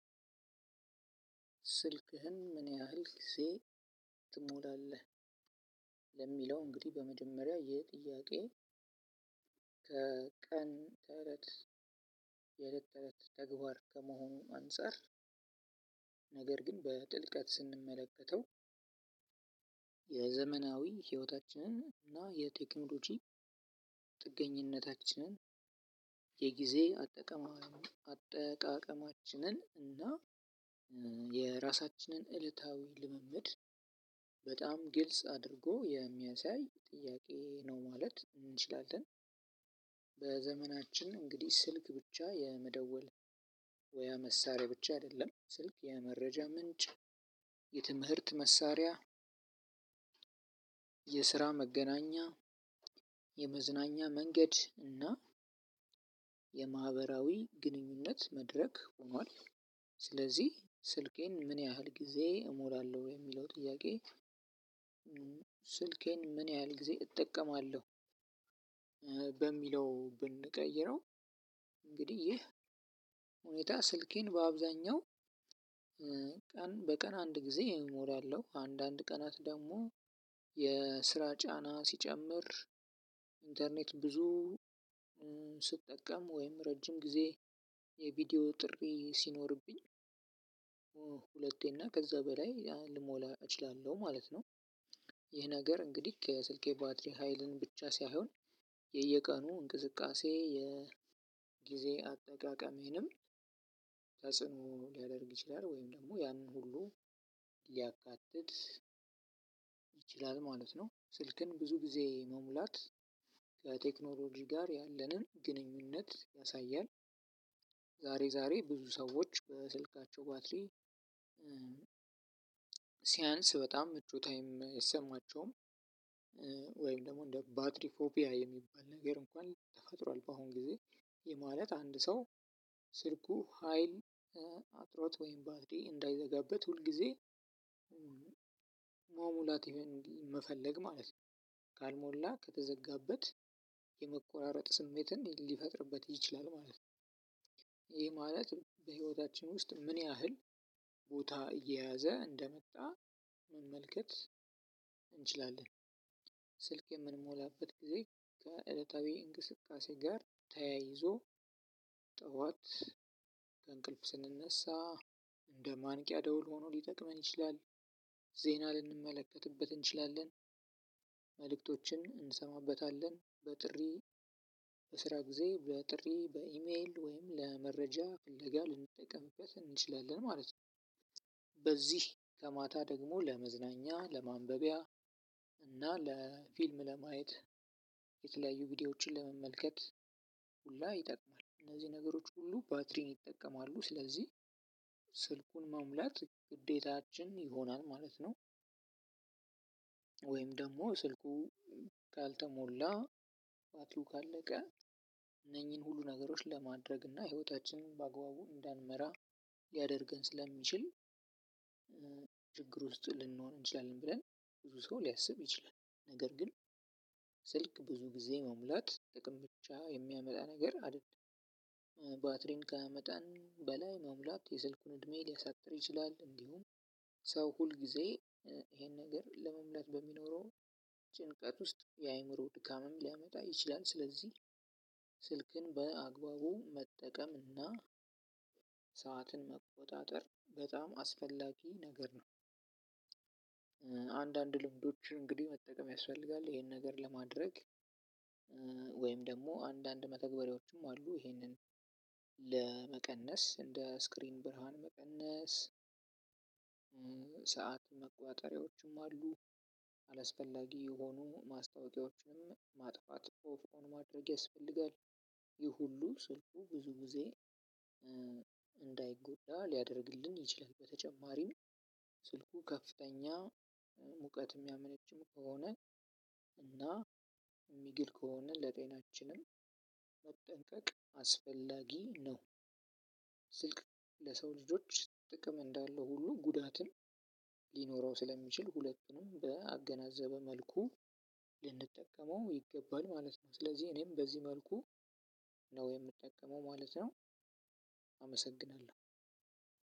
ስልክህን ምን ያህል ጊዜ ትሞላለህ? ለሚለው እንግዲህ በመጀመሪያ የጥያቄ ከቀን የለት የለት ተግባር ከመሆኑ አንፃር ነገር ግን በጥልቀት ስንመለከተው። የዘመናዊ ህይወታችንን እና የቴክኖሎጂ ጥገኝነታችንን የጊዜ አጠቃቀማችን እና የራሳችንን ዐለታዊ ልምምድ በጣም ግልጽ አድርጎ የሚያሳይ ጥያቄ ነው ማለት እንችላለን። በዘመናችን እንግዲህ ስልክ ብቻ የመደወያ መሳሪያ ብቻ አይደለም ስልክ የመረጃ ምንጭ የትምህርት መሳሪያ የስራ መገናኛ የመዝናኛ መንገድ እና የማህበራዊ ግንኙነት መድረክ ሆኗል። ስለዚህ ስልኬን ምን ያህል ጊዜ እሞላለሁ የሚለው ጥያቄ። ስልኬን ምን ያህል ጊዜ እጠቀመዋለሁ በሚለው ብንቀይረው። እንግዲህ ይህ ሁኔታ ስልኬን በአብዛኛው ቀን በቀን አንድ ጊዜ ሞላለሁ አንዳንድ ቀናት ደግሞ የስራ ጫና ሲጨምር ኢንተርኔት ብዙ ስጠቀም ወይም ረጅም ጊዜ የቪዲዮ ጥሪ ሲኖርብኝ ከዛ በላይ ልሞላ እችላለሁ ማለት ነው። ይህ ነገር እንግዲህ ከስልኬ ባትሪ ሀይልን ብቻ ሳይሆን የየቀኑ እንቅስቃሴ የጊዜ አጠቃቀሜንም ተጽዕኖ ሊያደርግ ይችላል ወይም ደግሞ ያንን ሁሉ ሊያካትት ይችላል ማለት ነው። ስልክን ብዙ ጊዜ መሙላት ከቴክኖሎጂ ጋር ያለንን ግንኙነት ያሳያል። ዛሬ ዛሬ ብዙ ሰዎች በስልካቸው ባትሪ ሲያንስ በጣም ምቹ ታይም አይሰማቸውም። ወይም ደግሞ እንደ ባትሪ ፎፒያ የሚባል ነገር እንኳን ተፈጥሯል በአሁን ጊዜ። ይህ ማለት አንድ ሰው ስልኩ ሀይል አጥሮት ወይም ባትሪ እንዳይዘጋበት ሁል ጊዜ መሙላት መፈለግ ማለት ነው። ካልሞላ ከተዘጋበት የመቆራረጥ ስሜትን ሊፈጥርበት ይችላል ማለት ነው። ይሄ ማለት በሂወታችን ውስጥ ምንያህል ቦታ እየያዘ እንደመጣ መመልከት እንችላለን። ስልክ የምንሞላበት ጊዜ ከዐለታዊ እንቅስቃሴ ጋር ተያይዞ ጠዋት ከእንቅልፍ ስንነሳ እንደ ማንቂያ ደውል ሆኖ ሊጠቅመን ይችላል። ዜና ልንመለከትበት እንችላለን መልእክቶችን እንሰማበታለን በጥሪ በስራ ጊዜ ብለው ጥሪ በኢሜል ወይም ለመረጃ ፍለጋ ልንጠቀምበት እንችላለን ማለት ነው። በዚህ ከማታ ደግሞ ለመዝናኛ ለማንበቢያ እና ለፊልም ለማየት የተለያዩ ቪዲዮዎችን ለመመልከት ሁላ ይጠቅማል። እነዚህ ነገሮች ሁሉ ባትሪን ይጠቀማሉ ስለዚህ ስልኩን መሙላት ግዴታችን ይሆናል ማለት ነው። ወይም ደሞ ስልኩ ካልተሞላ ባትሪው ካለቀ እነኚን ሁሉ ነገሮች ለማድረግና ሂወታችንን በአግባቡ እንዳንመራ ሊያደርገን ስለሚችል። ችግር ውስጥ ልንኖር እንችላለን ብለን ብዙ ሰው ሊያስብ ይችላል ነገር ግን ስልክ ብዙ ጊዜ መሙላት ጥቅም ብቻ የሚያመጣ ነገር አይደልም። ባትሪን ከመጣን በላይ መሙላት የስልኩን እድሜ ሊያሳጥር ይችላል። እንዲሁም ሰው ሁል ጊዜ ይሄን ነገር ለመምለጥ በሚኖረው ጭንቀት ውስጥ የአእምሮ ድካምም ሊያመጣ ይችላል። ስለዚህ ስልክን በአግባቡ መጠቀምና ሰዓትን መቆጣጠር በጣም አስፈላጊ ነገር ነው። አንዳንድ ልምዶችን እንግዲ መጠቀም ያስፈልጋል ኢሄን ነገር ለማድረግ። ወይም ደግሞ አንዳንድ መተግበሪያዎችም አሉ ይሄንን ለመቀነስ እንደ ስክሪን ብርሃን መቀነስ። ሰዓት መቆጣጠርያዎችም አሉ። አላስፈላጊ የሆኑ ማስታወቂያዎችንም ማጥፋት ኦፍ ኦን ማድረግ ያስፈልጋል። ይህ ሁሉ ስልኩ ብዙ ጊዜ እንዳይጎዳ ሊያረግልን ይችላል። በተጨማሪም ስልኩ ከፍተኛ ሙቀት ሚያመነጭ ከሆነ እና ሚግል ከሆነ ለጤናችን መጠንቀቅ አስፈላጊ ነው። ስልክ ለሰው ልጆች ጥቅም እንዳለው ሁሉ ጉዳትም ሊኖረው ስለሚችል ሁለቱንም ባገናዘበ መልኩ ልንጠቀመው ይገባል ማለት ነው። ስለዚህ እኔም በዚህ መልኩ ነው የምጠቀመው ማለት ነው። አመሰግናለሁ።